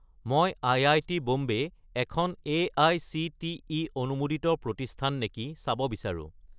মই আই.আই.টি. বম্বে এখন এআইচিটিই অনুমোদিত প্ৰতিষ্ঠান নেকি চাব বিচাৰোঁ।